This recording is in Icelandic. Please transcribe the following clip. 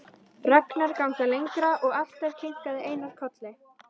Ragnar ganga lengra og alltaf kinkaði Einar kolli.